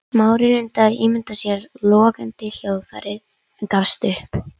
Smári reyndi að ímynda sér logandi hljóðfærið en gafst upp.